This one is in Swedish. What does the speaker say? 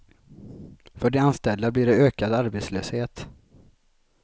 För de anställda blir det ökad arbetslöshet.